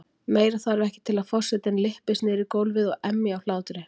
Meira þarf ekki til að forsetinn lyppist niður í gólfið og emji af hlátri.